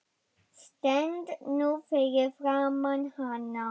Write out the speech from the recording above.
Stend nú fyrir framan hana.